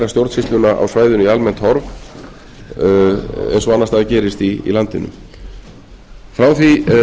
stjórnsýsluna á svæðinu í almennt horf eins og annars staðar gerist í landinu frá því að